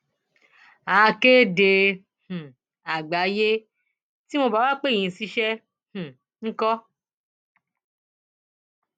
akéde um àgbáyé tí wọn ò bá wàá pè yín ṣiṣẹ um ńkọ